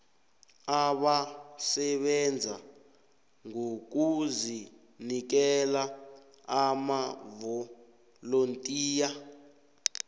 abasebenza ngokuzinikela amavolontiya